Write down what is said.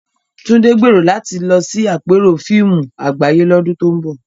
Tunde gbèrò láti lọ sí àpérò fíìmù àgbáyé lọ́dún tó ń bọ̀.